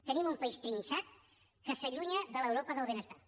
tenim un país trinxat que s’allunya de l’europa del benestar